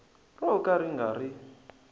ro ka ri nga ri